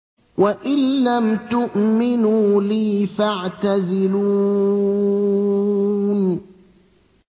وَإِن لَّمْ تُؤْمِنُوا لِي فَاعْتَزِلُونِ